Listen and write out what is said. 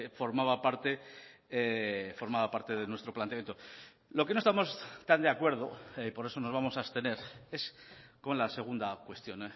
formaba parte formaba parte de nuestro planteamiento lo que no estamos tan de acuerdo por eso nos vamos a abstener es con la segunda cuestión